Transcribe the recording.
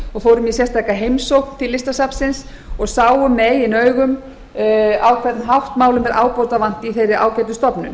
og fórum í sérstaka heimsókn til listasafnsins og sáum með eigin augum á hvern hátt málum er ábótavant í þeirri ágætu stofnun